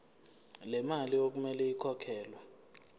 lemali okumele ikhokhelwe